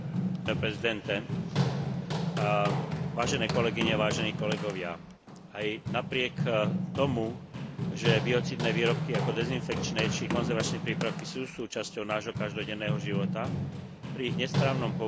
Aj napriek tomu, že biocídne výrobky ako dezinfekčné či konzervačné prípravky sú súčasťou nášho každodenného života, pri ich nesprávnom použití alebo nedostatočnej autorizácii môžu predstavovať značné riziko pre ľudí,